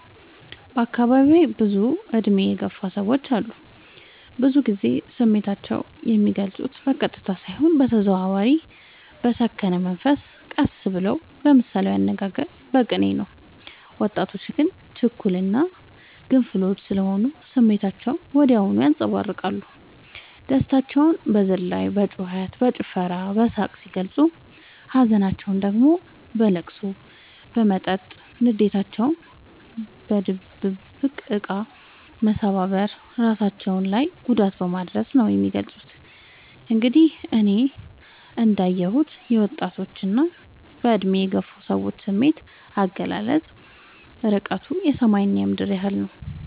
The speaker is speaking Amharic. በአካባቢዬ ብዙ እድሜ የገፉ ሰዎች አሉ። ብዙ ግዜ ስሜታቸው የሚልፁት በቀጥታ ሳይሆን በተዘዋዋሪ በሰከነ መንፈስ ቀስ ብለው በምሳሌያዊ አነጋገር በቅኔ ነው። ወጣቶች ግን ችኩል እና ግንፍሎች ስሆኑ ስሜታቸውን ወዲያው ያንፀባርቃሉ። ደስታቸውን በዝላይ በጩከት በጭፈራ በሳቅ ሲገልፁ ሀዘናቸውን ደግሞ በለቅሶ በመጠጥ ንዴታቸውን በድብድብ እቃ መሰባበር እራሳቸው ላይ ጉዳት በማድረስ ነው የሚገልፁት። እንግዲህ እኔ እንዳ የሁት የወጣቶች እና በእድሜ የገፉ ሰዎች ስሜት አገላለፅ እርቀቱ የሰማይ እና የምድር ያህል ነው።